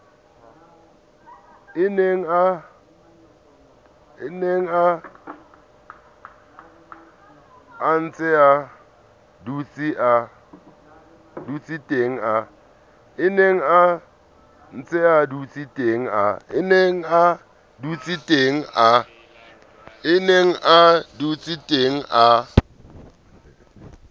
a nenga ntsea dutseteng a